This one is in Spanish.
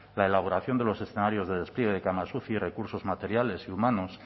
la elaboración de los escenarios de despliegue de camas uci recursos materiales y humanos